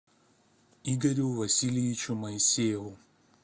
игорю васильевичу моисееву